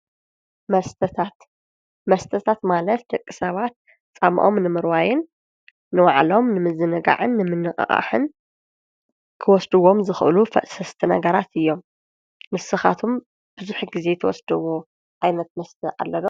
መስተታት መስተታት ማለት ደቂ ሰባት ፃምኦም ንምርዋይን ንባዕሎም ንምዝንጋዕን ምንቅቃሕን ክወስድዎም ዝክእሉ ፈሰስቲ ነገራት እዮም ። ንስካትኩም ቡዙሕ ግዘ ትወስድዎ ዓይነት መስተ አሎ ዶ ?